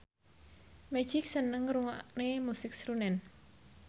Magic seneng ngrungokne musik srunen